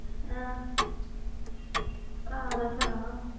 ਹਾਂ ਭਰਾ ਦਾ ਸੁਣਾ।